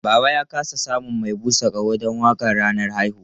Baba ya ƙasa samun mai busa ƙaho don waƙar ranar haihuwa.